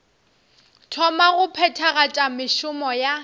thoma go phethagatša mešomo ya